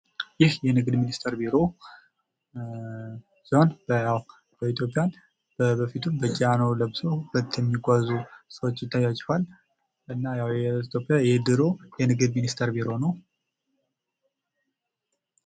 ይህ የንግድ ሚኒስቴር ቢሮ ሲሆን በኢትዮጵያ በበፊቱ ጃኖ ለብሰው እሚጓዙ ሰዎች ይታዩአችኋል። እና ያው የኢትዮጵያ የድሮ የንግድ ሚኒስቴር ቢሮ ነው።